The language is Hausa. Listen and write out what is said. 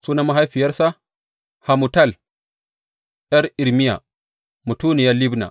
Sunan mahaifiyarsa Hamutal ’yar Irmiya; mutuniyar Libna.